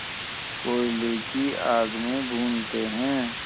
कोयले की आग में भूनते हैं